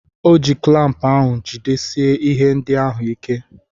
O ji klampụ ahụ jidesie ihe ndị ahụ ike.